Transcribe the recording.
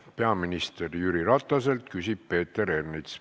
Peaminister Jüri Rataselt küsib Peeter Ernits.